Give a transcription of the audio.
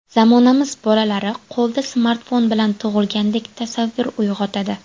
Zamonamiz bolalari qo‘lda smartfon bilan tug‘ilgandek tasavvur uyg‘otadi.